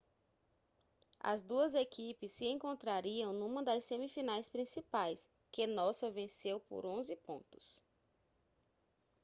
as duas equipes se encontrariam numa das semifinais principais que nossa venceu por 11 pontos